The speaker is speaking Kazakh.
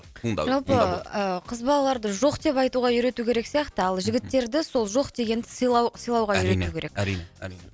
туындау туындау жалпы ы қыз балаларды жоқ деп айтуға үйрету керек сияқты ал жігіттерді сол жоқ дегенді сыйлау сыйлауға үйрету керек әрине әрине